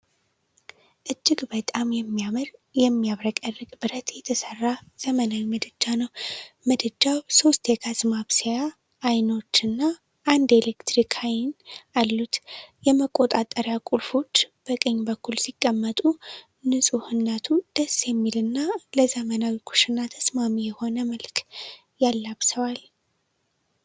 እጅግ በጣም የሚያምር፣ የሚያብረቀርቅ ብረት የተሰራ ዘመናዊ ምድጃ ነው። ምድጃው ሶስት የጋዝ ማብሰያ አይኖች እና አንድ የኤሌክትሪክ አይን አሉት። የመቆጣጠሪያ ቁልፎች በቀኝ በኩል ሲቀመጡ፣ ንፁህነቱ ደስ የሚል እና ለዘመናዊ ኩሽናዎች ተስማሚ የሆነ መልክ ያላብሰዋል።